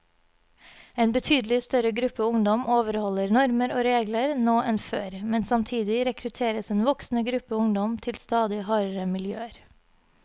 En betydelig større gruppe ungdom overholder normer og regler nå enn før, men samtidig rekrutteres en voksende gruppe ungdom til stadig hardere miljøer.